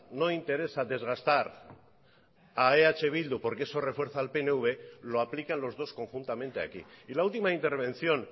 no interesa desgastar a eh bildu porque eso refuerza al pnv lo aplican los dos conjuntamente aquí y la última intervención